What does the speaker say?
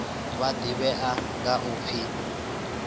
wa ḓivhea nga u pfi